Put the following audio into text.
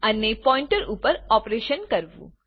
અને પોઈન્ટર ઉપર ઓપરેશન કરવું